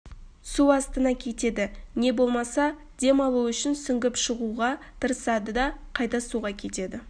су астына кетеді не болмаса дем алу үшін сүңгіп шығуға тырысады да қайта суға кетеді